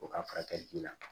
O ka furakɛli ji la